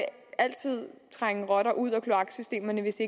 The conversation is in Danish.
altid trænge rotter ud af kloaksystemerne hvis